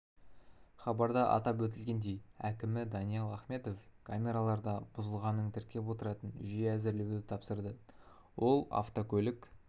хабарда атап өтілгендей әкімі даниал ахметов камералар да бұзылғанын тіркеп отыратын жүйе әзірлеуді тапсырды ол автокөлік